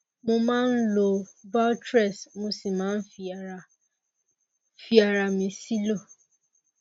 mo máa ń lo valtrex mo sì máa ń fi ara fi ara mi sílò